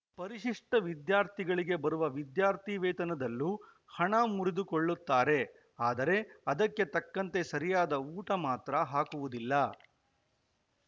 ಪರಿಶಿಷ್ಟವಿದ್ಯಾರ್ಥಿಗಳಿಗೆ ಬರುವ ವಿದ್ಯಾರ್ಥಿ ವೇತನದಲ್ಲೂ ಹಣ ಮುರಿದುಕೊಳ್ಳುತ್ತಾರೆ ಆದರೆ ಅದಕ್ಕೆ ತಕ್ಕಂತೆ ಸರಿಯಾದ ಊಟ ಮಾತ್ರ ಹಾಕುವುದಿಲ್ಲ